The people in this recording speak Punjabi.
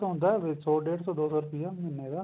ਥੋੜਾ ਜਾ ਵੱਧ ਹੁੰਦਾ ਵਿੱਚ ਸੋ ਡੇਢ ਸੋ ਰੂਪਏ ਮਹੀਨੇ ਦਾ